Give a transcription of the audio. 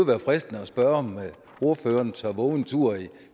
være fristende at spørge om ordføreren tør vove en tur i